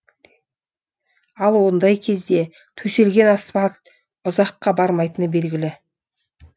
ал ондай кезде төселген асфальт ұзаққа бармайтыны белгілі